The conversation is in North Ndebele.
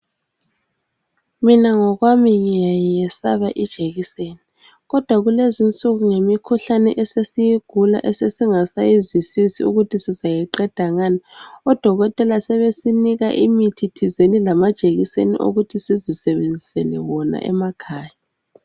Mina ngokwami ngiyayesaba ijekiseni kodwa kulezinsuku ngemikhuhlane esesiyigula esesingasayizwisisi ukuthi sizayiqeda ngani, odokotela sebesinika imithi thizeni lamajekiseni okuthi sizisebenzisele wona emakhaya.